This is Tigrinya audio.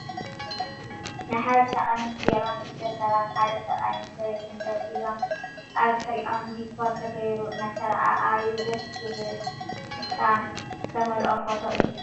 ናይ ሓበሻ ቀሚስ ጌሮም ክልተ ሰባት ሓደ ሰብኣይን ሰበይቲን ደው ኢሎም ኣብ ድሕሪኦም ዲኮር ተገይሩ እናተረኣኣዩ ደስ ዝብል ፍሽክታ ዝተመልኦ ፎቶ እዩ።